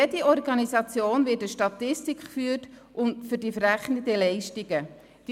Für jede Organisation wird eine Statistik über die verrechneten Leistungen geführt.